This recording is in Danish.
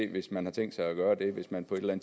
hvis man har tænkt sig at gøre det hvis man på et eller